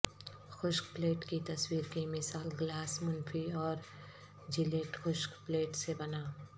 خشک پلیٹ کی تصویر کی مثال گلاس منفی اور جیلیٹ خشک پلیٹ سے بنا